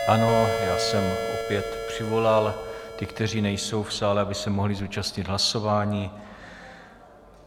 Ano, já jsem opět přivolal ty, kteří nejsou v sále, aby se mohli zúčastnit hlasování.